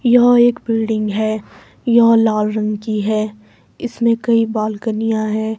यह एक बिल्डिंग है यह लाल रंग की है इसमें कई बालकनियाँ हैं।